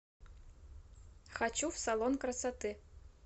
хочу в салон красоты